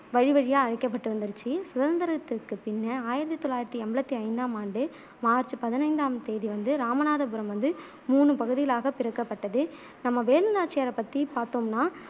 வழி வழியா அழைக்கப்பட்டு வந்துருச்சு சுதந்திரத்திற்குப் பின்னே ஆயிரத்தி தொள்ளாயிரத்தி எண்பத்தி ஐந்தாம் ஆம் ஆண்டு மார்ச் பதினைந்தாம் தேதி வந்து ராமநாதபுரம் வந்து மூணு பகுதிகளாகப் பிரிக்கப்பட்டது நம்ம வேலு நாச்சியாரை பத்தி பாத்தோம்னா